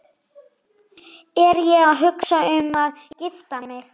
Er ég að hugsa um að gifta mig?